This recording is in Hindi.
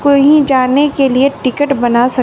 कहीं जाने के लिए टिकट बना सक--